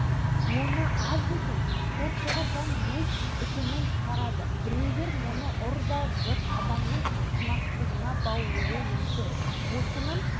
бір қарағанда солай көрінгенімен мұның астарында қайсарлық бірбеткейлік ізденгіштік адалдық көпшілдік әділдік сияқты адами құндылықтар жатады